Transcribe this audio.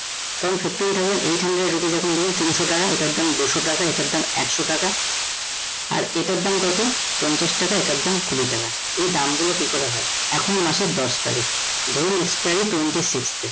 তখন fifteen thousand eight hundred rupees এখন ধরুন তিনশ টাকা এটার দাম দুশ টাকা এটার দাম একশ টাকা আর এটার দাম কত? পঞ্চাশ টাকা এটার দাম কুড়ি টাকা। এই দাম গুলো কি করে হয়? এখন মাসের দশ তারিখ ধরুন expiry twenty sixth এ